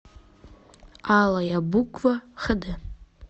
алая буква хд